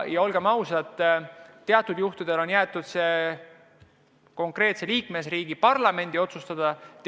Olgem ausad, teatud juhtudel on jäetud asjad konkreetse liikmesriigi parlamendi otsustada.